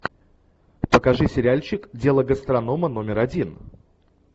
покажи сериальчик дело гастронома номер один